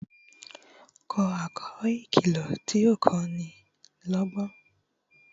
kò àlọ ìkìlọ tí o ko ni lógbón